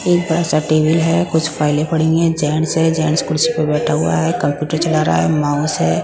एक बसा टेबल है कुछ फाइलें पड़ी हुई है जेंट्स है जेंट्स कुर्सी प बैठा हुआ है कंप्यूटर चला रहा है माउस है।